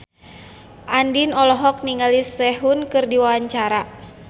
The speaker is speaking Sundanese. Andien olohok ningali Sehun keur diwawancara